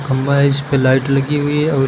खंभा है इस पे लाइट लगी हुई है और इस--